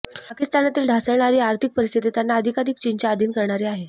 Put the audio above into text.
पाकिस्तानातील ढासळणारी आर्थिक परिस्थिती त्यांना अधिकाधिक चीनच्या अधीन करणारी आहे